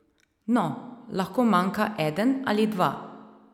No, lahko manjka eden ali dva.